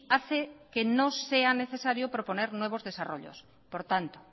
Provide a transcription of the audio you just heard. hace que no sea necesario proponer nuevos desarrollos por tanto